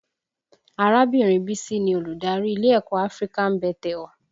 Arábìnrin Bísí ni Olùdarí ilé ẹ̀kọ́ African Bethel